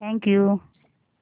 thank you